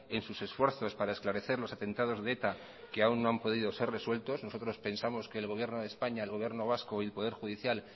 en sus esfuerzos para esclarecer los atentados de eta que aún no han podido ser resuelto nosotros pensamos que el gobierno de españa el gobierno vasco y el poder judicial